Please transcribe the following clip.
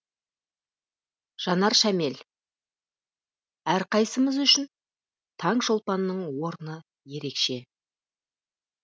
жанар шәмел әрқайсымыз үшін таңшолпанның орны ерекше